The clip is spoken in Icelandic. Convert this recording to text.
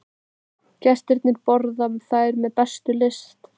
Gestirnir borða þær með bestu lyst.